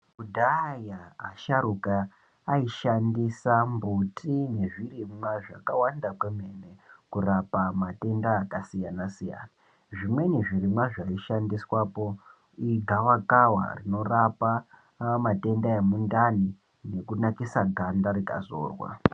Kudhaya asharuka aishandisa mbuti nezvirimwa zvakawanda kwemene kurapa matenda akasiyana-siyana, zvimweni zvirimwa zvaishandiswapo igawakawa rinorapa matenda emundani nekunakisa ganda rikazorwa.